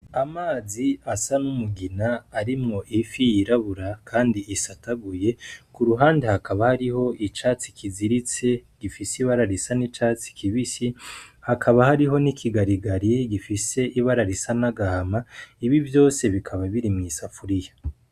Amazi asa n'umugina arimwo ifi yirabura kandi isataguye, kuruhande hakaba hariho icatsi kiziritse gifise ibara risa n'icatsi kibisi, hakaba hariho n'ikigarigari gifise ibara risa n'agahama ibi vyose bikaba biri mw'isafuriya.